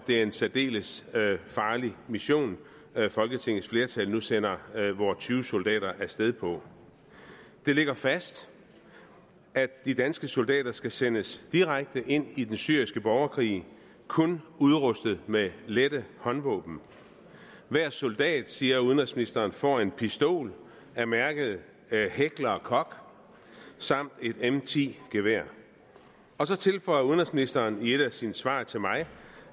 er en særdeles farlig mission folketingets flertal nu sender vore tyve soldater af sted på det ligger fast at de danske soldater skal sendes direkte ind i den syriske borgerkrig kun udrustet med lette håndvåben hver soldat siger udenrigsministeren får en pistol af mærket heckler koch samt et m10 gevær og så tilføjer udenrigsministeren i et af sine svar til mig